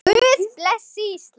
Guð blessi Ísland.